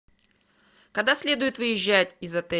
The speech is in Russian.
когда следует выезжать из отеля